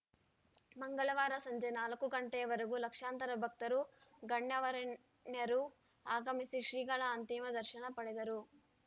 ಮಂಗಳವಾರ ಸಂಜೆ ನಾಲ್ಕು ಗಂಟೆಯ ವರೆಗೂ ಲಕ್ಷಾಂತರ ಭಕ್ತರು ಗಣ್ಯವೇ ಣ್ಯರು ಆಗಮಿಸಿ ಶ್ರೀಗಳ ಅಂತಿಮ ದರ್ಶನ ಪಡೆದರು